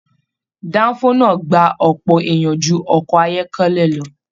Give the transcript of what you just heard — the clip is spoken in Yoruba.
Danfo náà gbà ọpọ èèyàn jù ọkọ̀ ayọkẹlẹ lọ.